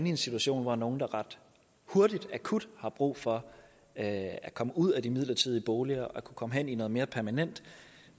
i en situation hvor nogle der ret hurtigt akut har brug for at komme ud af de midlertidige boliger og komme hen i noget mere permanent